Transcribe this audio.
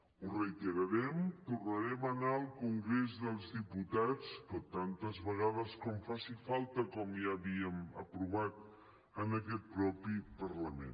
ho reiterarem tornarem a anar al congrés dels diputats tantes vegades com faci falta com ja havíem aprovat en aquest mateix parlament